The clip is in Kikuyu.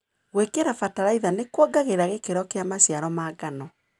Gwĩkĩra bataraitha nĩkuongagĩrĩra gĩkĩro kĩa maciaro ma ngano.